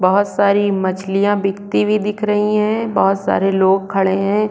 बहुत सारी मछलीयाँ बिकती हुई दिख रही है बहुत सारे लोग खड़े है।